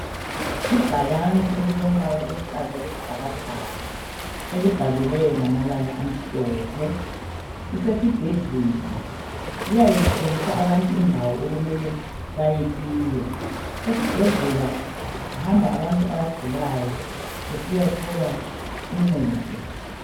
Ibhakani elilombala oluhlaza okwesibhakabhaka elibhaliweyo ngamabala amhlophe, lisesibhedlela liyabe litshengisa abantu indawo okumele beyekiyo. Esibhedlela kuhamba abantu abagulayo besiyathola uncedo.